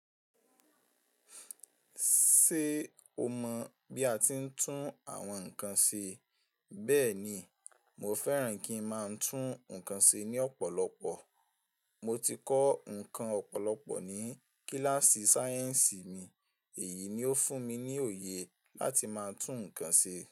Ṣé o mọ̀ bí a ti ń tún àwọn nǹkan se? Bẹ́ẹ̀ni, mo fẹ́ràn kí ń máa tún nǹkan se ní ọ̀pọ̀lọpọ̀. Mo ti kọ́ nǹkan ọ̀pọ̀lọpọ̀ ní kíláàsì sáyẹ̀nsì mi. Èyí ni ó fún mi ní òye láti máa tún nǹkan ṣe.